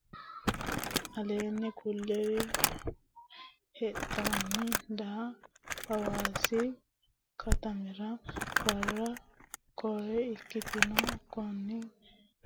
Aleenni kulliri lexxanni daa Haawaasi katamira baara widinna gobbate turizimete hala lara kora ikkitino Konninni kainohunni kawa Hawaasi maa linanninna daa attote katama ikkino.